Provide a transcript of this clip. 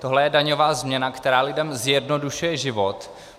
Tohle je daňová změna, která lidem zjednodušuje život.